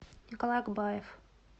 николай акбаев